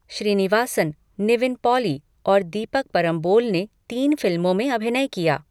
श्रीनिवासन, निविन पॉली और दीपक परम्बोल ने तीन फिल्मों में अभिनय किया।